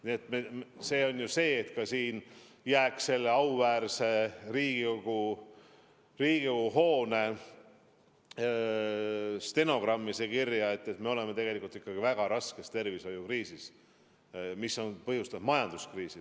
Nii et võiks jääda ka auväärse Riigikogu stenogrammi kirja, et me oleme tegelikult ikka väga raskes tervishoiukriisis, mis on põhjustanud ka majanduskriisi.